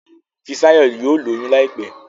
Fisayo yíò lóyún láìpé